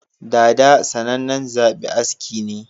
Dada sanan nan zaɓi aski ne